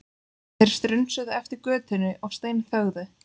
Þeir strunsuðu eftir götunni og steinþögðu.